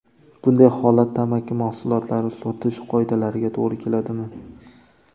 Bunday holat tamaki mahsulotlari sotish qoidalariga to‘g‘ri keladimi?